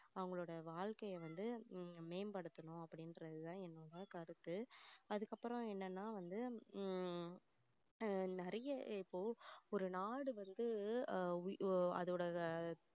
அவங்களோட வாழ்க்கையை வந்து மேம்படுத்தணும் அப்படின்றது தான் என்னோட கருத்து அதுக்கப்புறம் என்னன்னா வந்து ஹம் நிறைய இப்போ ஒரு நாடு வந்து அஹ் அதோடத